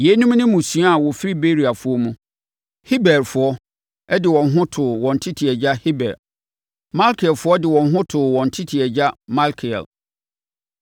Yeinom ne mmusua a wɔfiri Beriafoɔ mu. Heberfoɔ de wɔn ho too wɔn tete agya Heber. Malkielfoɔ de wɔn ho too wɔn tete agya Malkiel.